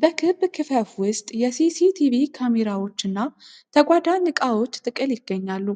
በክብ ክፈፍ ውስጥ የሲሲቲቪ ካሜራዎች እና ተጓዳኝ እቃዎች ጥቅል ይገኛሉ።